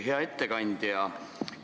Hea ettekandja!